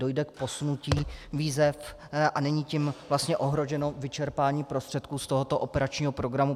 Dojde k posunutí výzev a není tím vlastně ohroženo vyčerpání prostředků z tohoto operačního programu?